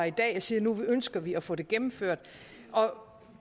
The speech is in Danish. i dag og siger at nu ønsker vi at få det gennemført og